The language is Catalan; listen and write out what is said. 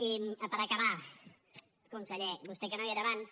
i per acabar conseller vostè que no hi era abans